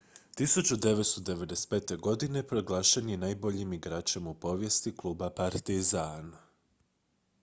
1995. godine proglašen je najboljim igračem u povijesti kluba partizan